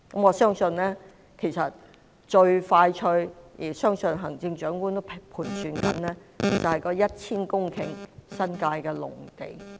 我相信最快可用的——相信行政長官也在盤算——就是 1,000 公頃的新界農地。